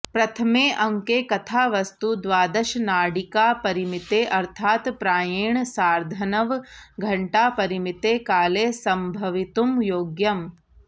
प्रथमे अङ्के कथावस्तु द्वादशनाडिकापरिमिते अर्थात् प्रायेण सार्धनवघण्टापरिमिते काले सम्भवितुं योग्यम्